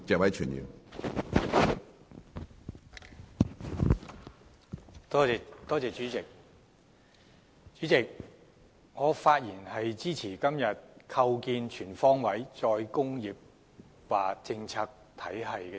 主席，我發言支持今天這項有關"構建全方位'再工業化'政策體系"的議案。